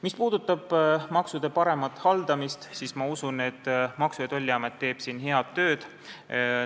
Mis puudutab maksude paremat haldamist, siis ma usun, et Maksu- ja Tolliamet teeb siin head tööd.